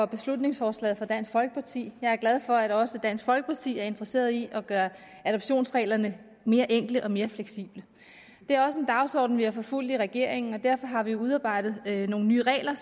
beslutningsforslaget fra dansk folkeparti jeg er glad for at også dansk folkeparti er interesseret i at gøre adoptionsreglerne mere enkle og mere fleksible det er også en dagsorden vi har forfulgt i regeringen og derfor har vi udarbejdet nogle nye regler